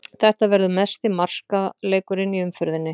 Þetta verður mesti markaleikurinn í umferðinni.